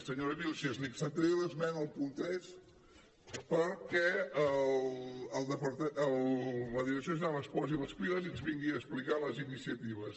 senyora vílchez li acceptaré l’esmena al punt tres perquè la direcció general es posi les piles i ens vingui a explicar les iniciatives